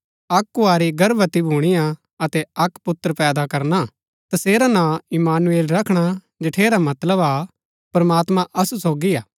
अक्क कुँवारी गर्भवती भुणीआ अतै अक्क पुत्र पैदा करना तसेरा नां इम्मानुएल रखणा जठेरा मतलब हा प्रमात्मां असु सोगी हा